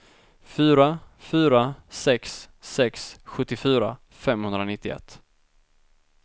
fyra fyra sex sex sjuttiofyra femhundranittioett